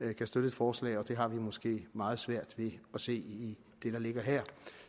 vi kan støtte et forslag og det har vi måske meget svært ved at se i det der ligger her